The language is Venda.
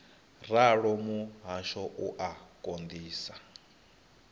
ralo muhasho u a konḓisa